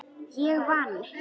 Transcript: Ég vann.